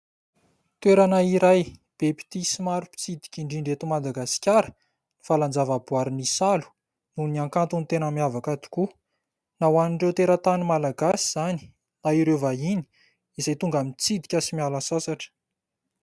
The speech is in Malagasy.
Toerana iray be mpitia sy maro mpitsidika indrindra eto Madagasikara ny valan-javaboaharin'Isalo noho ny ankantony tena miavaka tokoa. Na ho an'ireo teratany Malagasy izany na ireo vahiny izay tonga mitsidika sy miala sasatra.